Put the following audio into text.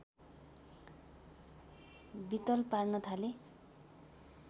वित्तल पार्न थाले